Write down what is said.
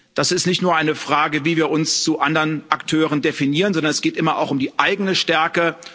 Das ist nicht nur eine Frage, wie wir uns zu anderen Akteuren definieren, sondern es geht immer auch um die eigene Stärke.